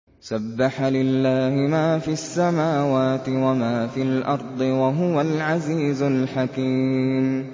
سَبَّحَ لِلَّهِ مَا فِي السَّمَاوَاتِ وَمَا فِي الْأَرْضِ ۖ وَهُوَ الْعَزِيزُ الْحَكِيمُ